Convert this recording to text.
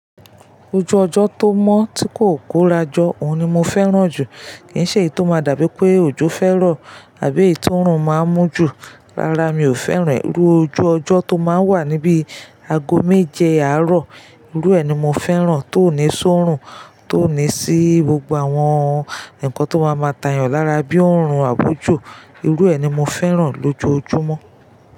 Ojú ọjọ́ tó mọ́ tí kò kórajọ́, òun ni mo fẹ́ràn jù. Kì ń ṣe èyí tó máa dàbí pé ojú fẹ́ ro àbí èyí tórun máa ń mú jù, rárá, mi ò fẹ́ràn e. Irú ojú ọjọ́ tó máa ń wà níbi ago méje àárọ̀, irú ẹ ni mo fẹ́ràn, tó ní ṣórun, tó ní ṣí gbogbo àwọn nǹkan tó máa máa tàyàn lára bíi òórùn àbò ojo. Irú ẹ ni mo fẹ́ràn lójoojúmọ́